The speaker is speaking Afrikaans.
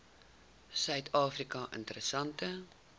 suid afrika interessante